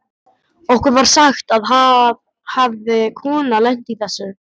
Okkur var sagt að það hefði kona lent í þessu.